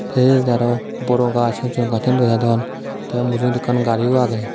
hej araw boro gaz hojson gazsun dega jadon te mujugedi ekkan gariyo agey.